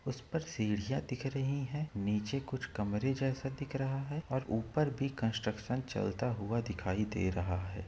उस पर सीढ़िया दिख रही है नीचे कुछ कमरे जैसा दिख रहा है और ऊपर भी कंस्टट्रक्शन चलता हुआ दिखाई दे रहा है।